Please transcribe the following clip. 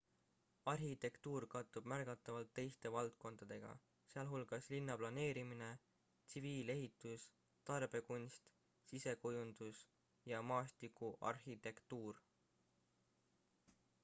arhitektuur kattub märgatavalt teiste valdkondadega sh linnaplaneerimine tsiviilehitus tarbekunst sisekujundus ja maastikuarhitektuur